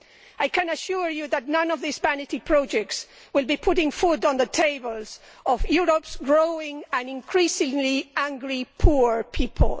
I can assure you that none of these vanity projects will be putting food on the tables of Europe's growing number of increasingly angry poor people.